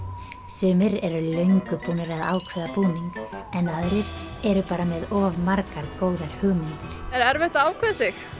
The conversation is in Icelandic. sumir eru löngu búnir að ákveða búning en aðrir eru bara með of margar góðar hugmyndir er erfitt að ákveða sig